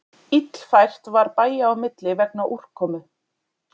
Illfært var bæja á milli vegna úrkomu